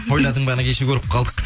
ойладың баны кеше көріп қалдық